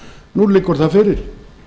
nú liggur það fyrir